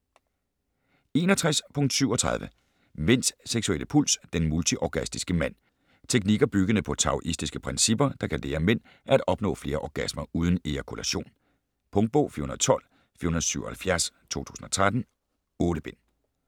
61.37 Mænds seksuelle puls: den multiorgastiske mand Teknikker, byggende på taoistiske principper, der kan lære mænd at opnå flere orgasmer uden ejakulation. Punktbog 412477 2013. 8 bind.